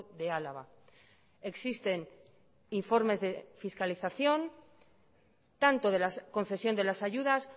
de álava existen informes de fiscalización tanto de la concesión de las ayudas